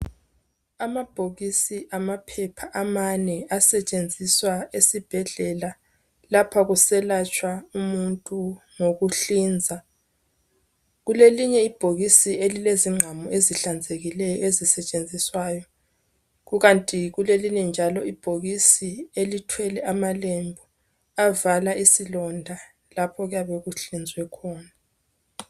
Amabhokisi amaphepha amane asetshenziswa esibhedlela lapha kuselatshwa umuntu ngokuhlinza. Kulelinye ibhokisi elilezingqamu ezihlanzekileyo ezisetshenziswayo ,kukanti kulelinye njalo ibhokisi elithwele amalembu avala isilonda lapha okuyabe kuhlinzwe khona.